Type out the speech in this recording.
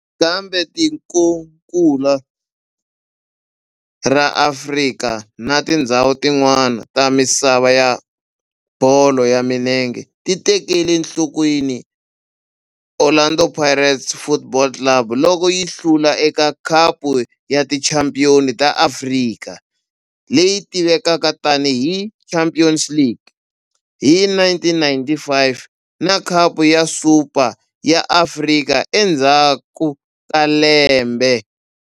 Kambe tikonkulu ra Afrika na tindzhawu tin'wana ta misava ya bolo ya milenge ti tekele enhlokweni Orlando Pirates Football Club loko yi hlula eka Khapu ya Tichampion ta Afrika, leyi tivekaka tani hi Champions League, hi 1995 na Khapu ya Super ya Afrika endzhaku ka lembe.